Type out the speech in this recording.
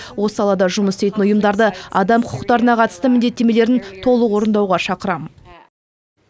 осы салада жұмыс істейтін ұйымдарды адам құқықтарына қатысты міндеттемелерін толық орындауға шақырамын